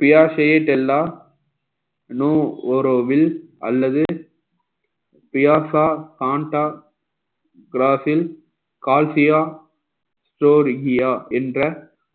பியாஸ் எல்லாம் நொ ரோவில் அல்லது என்ற